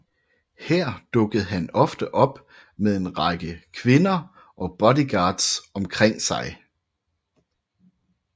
Her dukkede han ofte op med en rækker kvinder og bodyguards omkring sig